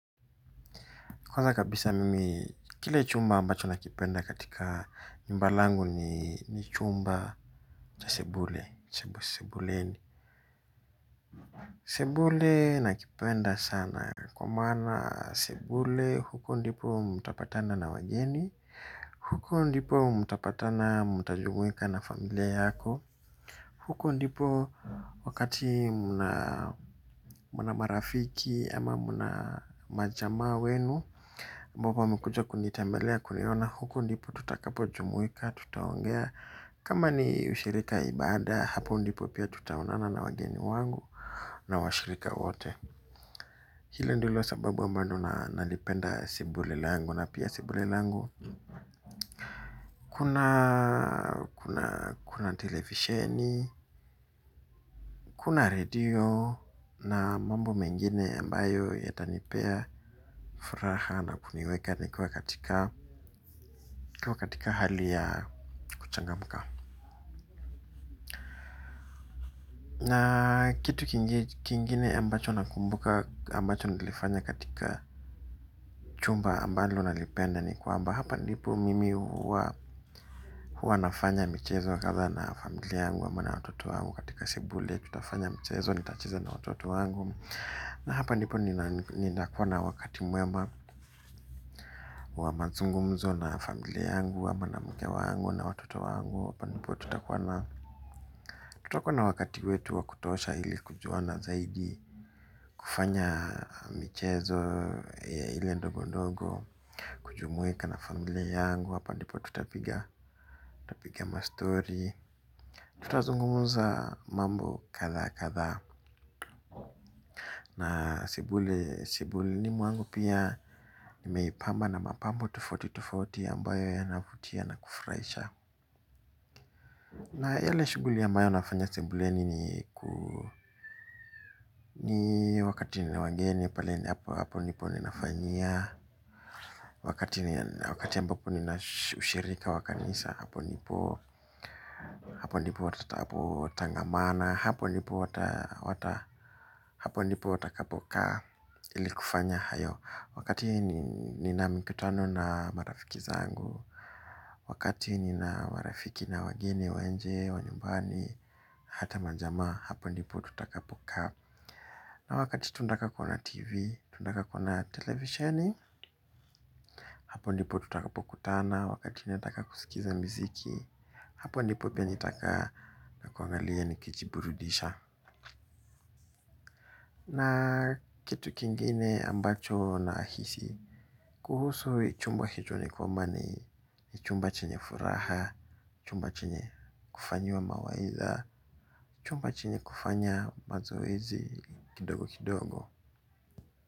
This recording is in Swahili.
Kwaza kabisa mimi, kile chumba ambacho nakipenda katika nyumba langu ni chumba cha sebule, sebuleni. Sebule nakipenda sana kwa maana sebule huko ndipo mtapatana na wageni, huko ndipo mtapatana mtajumuika na familia yako. Huko ndipo wakati mna marafiki ama mna majamaa wenu ambao wamekuja kunitembelea kuniona huko ndipo tutakapo jumuika tutaongea. Kama ni shirika ibada hapo ndipo pia tutaonana na wageni wangu na washirika wate. Hilo ndilo sababu ambalo nalipenda sebule langu na pia sebule langu. Kuna televisheni, kuna redio na mambo mengine ambayo yatanipea furaha na kumiweka nikiwa katika hali ya kuchangamka. Na kitu kingine ambacho nakumbuka ambacho nilifanya katika chumba ambayo nalipenda ni kwamba. Hapa ndipo mimi huwa nafanya michezo wa kadhaa na familia yangu ama na watoto wangu katika sebule letu. Tutafanya michezo nitacheza na watoto wangu. Na hapa ndipo nina kuwa na wakati mwema wa mazungumzo na familia yangu ama na mke wangu na watoto wangu. Hapa nipo tuta kuwa na wakati wetu wa kutosha ili kujuana zaidi kufanya mchezo ile ndogo ndogo. Kujumuika na familia yangu hapa ndipo tutapiga mastori tutazungumza mambo kadhaa kadhaa. Na sebule sebuleni mwangu pia nimeipamba na mapambo tufaoti tufaoti ambayo yana vutia na kufurahisha. Na yale shughuli ambayo nafanya sebuleni ni ni wakati nina wageni paleni hapo nipo ninafanyia. Wakati mbapo nina ushirika wakanisa hapo nipo. Hapo ndipo watatapo tangamana, hapo ndipo watakapokaa ili kufanya hayo. Wakati hii nina mikutano na marafiki zangu, wakali hapo ndipo tutakapokutana, wakati nataka kusikiza mziki. Hapo ndipopia nitakaa nakilia na kuangalia ni kijiiburudisha. Na kitu kingine ambacho na hisi. Kuhusu chumbwa hitu nikomani ni chumba chenye furaha, chumba chenye kufanywa mawaiza, chumba chenye kufanya mazoezi kidogo kidogo.